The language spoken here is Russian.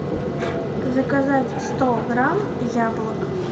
заказать сто грамм яблок